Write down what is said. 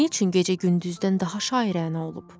Nə üçün gecə gündüzdən daha şairəna olub?